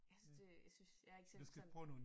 Jeg synes det jeg synes jeg ikke selv sådan